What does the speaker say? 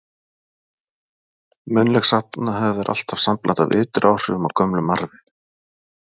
Munnleg sagnahefð er alltaf sambland af ytri áhrifum og gömlum arfi.